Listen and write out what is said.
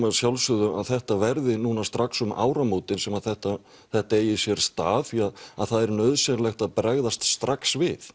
að sjálfsögðu að þetta verði núna strax um áramótin sem þetta þetta eigi sér stað því það er nauðsynlegt að bregðast strax við